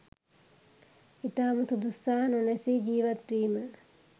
ඉතාම සුදුස්සා නොනැසී ජීවත්වීම